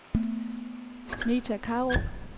Meta Krarup